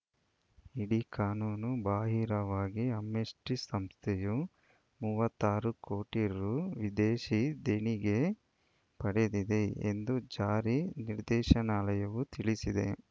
ಇಡಿ ಕಾನೂನು ಬಾಹಿರವಾಗಿ ಆಮ್ನೆಸ್ಟಿಸಂಸ್ಥೆಯು ಮೂವತ್ತ್ ಆರು ಕೋಟಿ ರು ವಿದೇಶಿ ದೇಣಿಗೆ ಪಡೆದಿದೆ ಎಂದು ಜಾರಿ ನಿರ್ದೇಶಾನಾಲಯವು ತಿಳಿಸಿದೆ